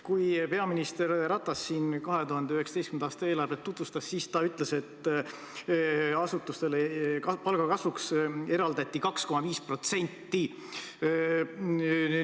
Kui peaminister Ratas siin 2019. aasta eelarvet tutvustas, siis ta ütles, et asutustele eraldati raha palgakasvuks 2,5%.